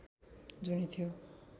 जुनि थियो